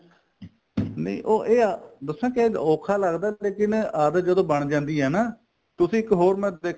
ਨਹੀਂ ਉਹ ਇਹ ਆ ਦਸਾ ਕੇ ਔਖਾ ਲੱਗਦਾ ਫੇਰ ਕਹਿਨੇ ਆਦਤ ਜਦੋਂ ਬਣ ਜਾਂਦੀ ਏ ਨਾ ਤੁਸੀਂ ਇੱਕ ਹੋਰ ਮੈਂ